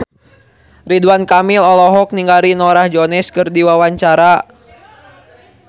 Ridwan Kamil olohok ningali Norah Jones keur diwawancara